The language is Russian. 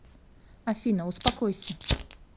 афина успокойся